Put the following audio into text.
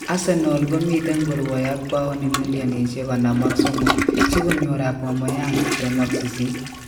Arsenal komiten korwae ak pauni millinishek 53 sikonyor Aubameyang 28